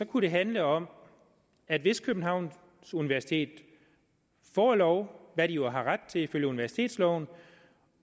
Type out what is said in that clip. det handle om at hvis københavns universitet får lov hvad de jo har ret til ifølge universitetsloven